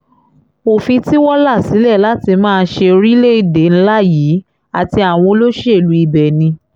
òfin tí wọ́n là sílẹ̀ láti máa fi ṣe orílẹ̀-èdè ńlá yìí àti àwọn olóṣèlú ibẹ̀ ni